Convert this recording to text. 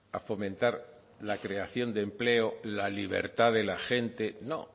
a fomentar la creación de empleo la libertad de la gente no